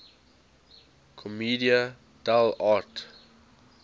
commedia dell arte